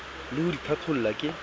ie ho di qhaqholla ke